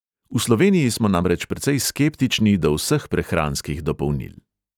V sloveniji smo namreč precej skeptični do vseh prehranskih dopolnil.